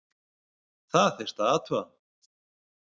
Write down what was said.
Það þyrfti að athuga????